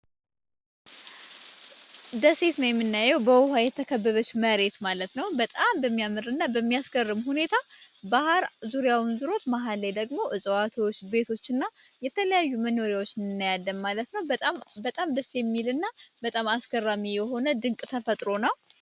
ደሴትም የምናየው በውሃ የተከብበሽ መሬት ማለት ነው፡፡ በጣም በሚያምር እና በሚያስገርም ሁኔታ ባህር ዙሪያውን ዝሮት መሃል ላይ ደግሞ እፅዋትዎች ቤቶች ና የተለያዩ መኖሪያዎች ናያደም ማለት ነው፡፡ በጣም ደሴ የሚል እና በጣም አስገራሚ የሆነ ድንቅ ተፈጥሮ ነው፡፡